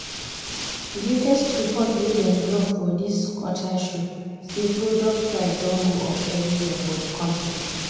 the latest report wey dem drop for this quarter show say product price don go up everywhere for the country.